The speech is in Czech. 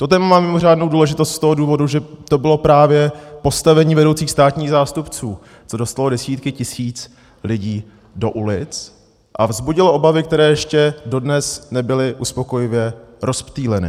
To téma má mimořádnou důležitost z toho důvodu, že to bylo právě postavení vedoucích státních zástupců, co dostalo desítky tisíc lidí do ulic a vzbudilo obavy, které ještě dodnes nebyly uspokojivě rozptýleny.